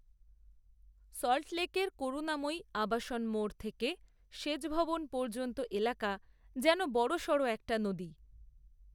সল্টলেকের করুণাময়ী, আবাসন মোড় থেকে সেচভবন পর্যন্ত এলাকা, যেন বড়সড় একটা নদী